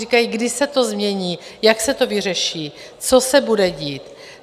Říkají, kdy se to změní, jak se to vyřeší, co se bude dít?